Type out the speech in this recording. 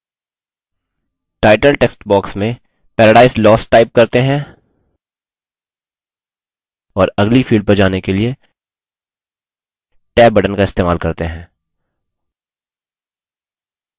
title text box में paradise lost type करते हैं और अगली field पर जाने के लिए tab box का इस्तेमाल करते हैं